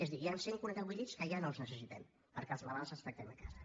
és a dir hi han cent i quaranta vuit llits que ja no els necessitem perquè els malalts els tractem a casa